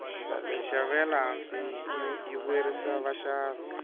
minxavo ya le hansi yi vuyerisa vaxavi